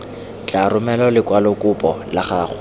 tla romela lekwalokopo la gago